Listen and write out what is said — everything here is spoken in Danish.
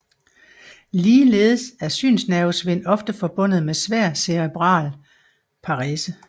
Ligeledes er synsnervesvind ofte forbundet med svær cerebral parese